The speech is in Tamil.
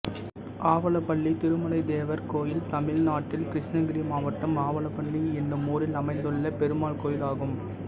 ஆவலப்பள்ளி திருமலைத் தேவர் கோயில் தமிழ்நாட்டில் கிருஷ்ணகிரி மாவட்டம் ஆவலப்பள்ளி என்னும் ஊரில் அமைந்துள்ள பெருமாள் கோயிலாகும்